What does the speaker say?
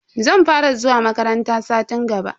Zan fara zuwa makaranta satin gaba.